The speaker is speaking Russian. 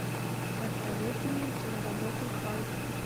посоветуй мне киноработу халк